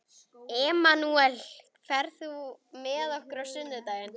Emanúel, ferð þú með okkur á sunnudaginn?